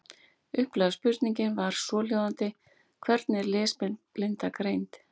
Upphaflega spurningin var svohljóðandi: Hvernig er lesblinda greind?